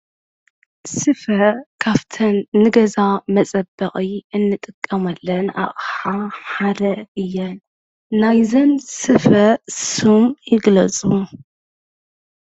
ስፈ ካፍተን ንገዛ መፀበቒ ንጥቀመለን ኣቕሓ ሓደ እየን ናይዘን ስፈ ሱም ይግለፁ?